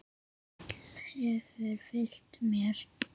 Þessi stíll hefur fylgt mér.